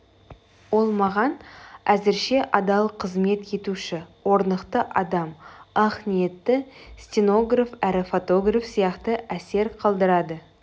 ол маған әзірше адал кызмет етуші орнықты адам ақ ниетті стенограф әрі фотограф сияқты әсер қалдырады